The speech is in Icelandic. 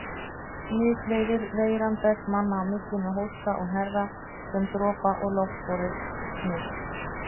Smitleiðir Veiran berst manna á milli með hósta og hnerra sem dropa- og loftborið smit.